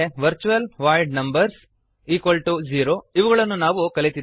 virtual void numbers0 ಇವುಗಳನ್ನು ನಾವು ಕಲಿತಿದ್ದೇವೆ